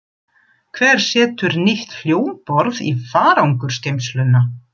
Hver setur nýtt hljómborð í farangursgeymsluna?